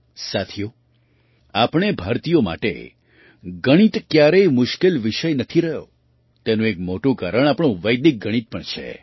સાથીઓ આપણે ભારતીયો માટે ગણિત ક્યારેય મુશ્કેલ વિષય નથી રહ્યો તેનું એક મોટું કારણ આપણું વૈદિક ગણિત પણ છે